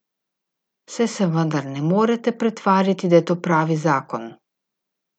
Saj se vendar ne morete pretvarjati, da je to pravi zakon.